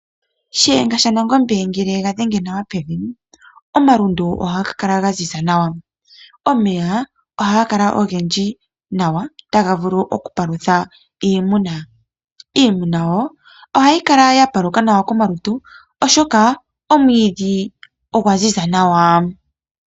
Shiyenga shaNangombe ngele ye ga dhenge nawa pevi, omalundu ohaga kala ga ziza. Omeya ohaga kala ogendji nawa taga vulu okupalutha iimuna. Iimuna wo ohayi kala ya paluka nawa komalutu, oshoka omwiidhi ogwa ziza nawa.